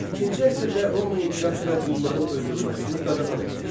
İkinci əsrdə Roma imperatoru qulların öldürülməsini qadağan etmişdi.